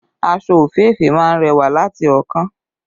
Aṣọ òféèfé má ń rẹwà láti ọ̀ọ́kán